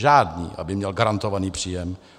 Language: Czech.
Žádný, aby měl garantovaný příjem.